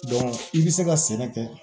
i bɛ se ka sɛnɛ kɛ